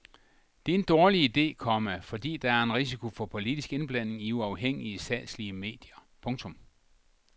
Det er en dårlig ide, komma fordi der er en risiko for politisk indblanding i uafhængige statslige medier. punktum